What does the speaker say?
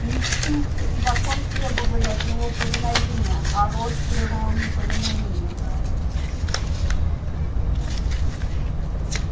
инстинкт и закон требовали от него повиновения а рост требовал неповиновения